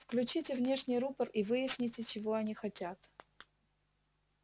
включите внешний рупор и выясните чего они хотят